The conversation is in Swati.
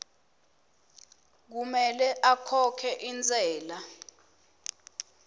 kumele akhokhe intsela